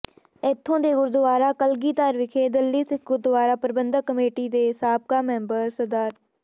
ਇਥੋਂ ਦੇ ਗੁਰਦਵਾਰਾ ਕਲਗੀਧਰ ਵਿਖੇ ਦਿੱਲੀ ਸਿੱਖ ਗੁਰਦਵਾਰਾ ਪ੍ਰਬੰਧਕ ਕਮੇਟੀ ਦੇ ਸਾਬਕਾ ਮੈਂਬਰ ਸ